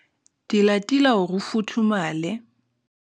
tilatila hore o futhumale.